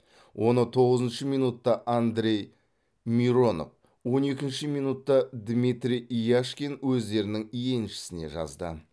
оны тоғызыншы минутта андрей миронов он екінші минутта дмитрий яшкин өздерінің еншісіне жазды